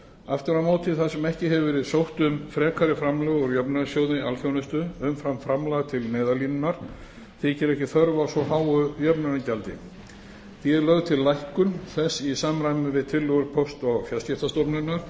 aftur á móti þar sem ekki hefur verið sótt um frekari framlög úr jöfnunarsjóði alþjónustu umfram framlag til neyðarlínunnar þykir ekki þörf á svo háu jöfnunargjaldi því er lögð til lækkun þess í samræmi við tillögur póst og fjarskiptastofnunar